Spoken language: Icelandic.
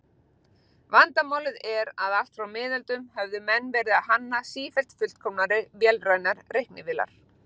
Vandamálið er að allt frá miðöldum höfðu menn verið að hanna sífellt fullkomnari vélrænar reiknivélar.